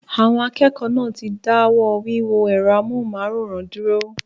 Àwọn akẹ́kọ̀ọ́ náà ti dáwọ́ wíwo ẹ̀rọ amóhùnmáwòrán dúró